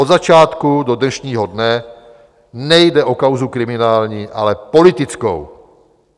Od začátku do dnešního dne nejde o kauzu kriminální, ale politickou.